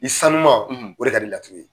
I sanuuma o; o de ka di laturu ye